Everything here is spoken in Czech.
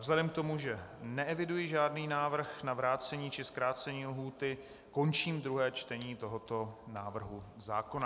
Vzhledem k tomu, že neeviduji žádný návrh na vrácení či zkrácení lhůty, končím druhé čtení tohoto návrhu zákona.